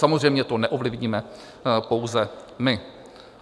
Samozřejmě to neovlivníme pouze my.